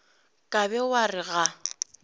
ka be wa re ga